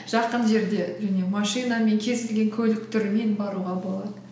жақын жерде және машинамен кез келген көлік түрімен баруға болады